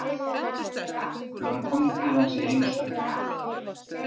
Við vorum komnir til hans í einu stökki